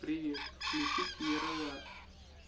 привет включить ералаш